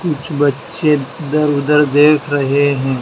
कुछ बच्चे इधर उधर देख रहे हैं।